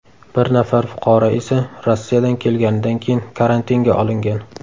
Bir nafar fuqaro esa Rossiyadan kelganidan keyin karantinga olingan.